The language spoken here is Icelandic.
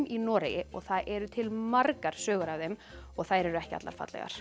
í Noregi og það eru til margar sögur af þeim og þær eru ekki allar fallegar